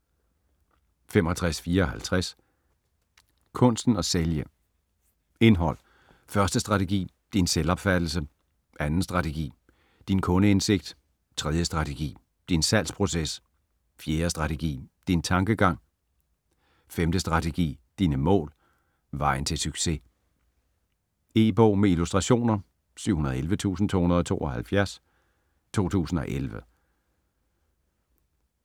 65.54 Kunsten at sælge Indhold: 1. strategi: Din selvopfattelse ; 2. strategi: Din kundeindsigt ; 3. strategi: Din salgsproces ; 4. strategi: Din tankegang ; 5. strategi: Dine mål ; Vejen til succes. E-bog med illustrationer 711272 2011.